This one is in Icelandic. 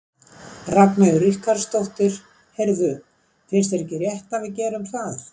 Ragnheiður Ríkharðsdóttir: Heyrðu, finnst þér ekki rétt að við gerum það?